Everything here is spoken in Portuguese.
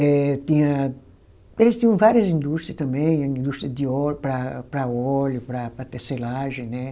Eh tinha, eles tinham várias indústria também, indústria de óleo, para para óleo, para tecelagem, né?